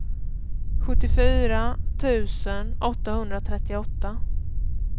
sjuttiofyra tusen åttahundratrettioåtta